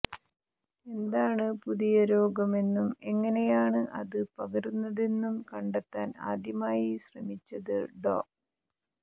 എന്താണ് പുതിയ രോഗം എന്നും എങ്ങനെയാണ് അത് പകരുന്നതെന്നും കണ്ടെത്താൻ ആദ്യമായി ശ്രമിച്ചത് ഡോ